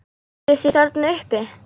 Eruð þið þarna uppi!